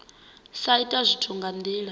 sa ita zwithu nga ndila